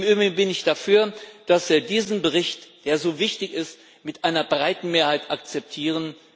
Im Übrigen bin ich dafür, dass wir diesen Bericht, der so wichtig ist, mit einer breiten Mehrheit akzeptieren.